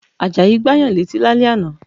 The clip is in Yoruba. Àjàyí Gbáyàn létí lálẹ́ ànà